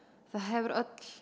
þá hefur öll